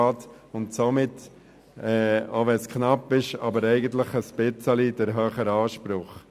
Sie hat somit, auch wenn es knapp ist, eigentlich den etwas höheren Anspruch.